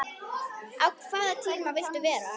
á hvaða tíma viltu vera?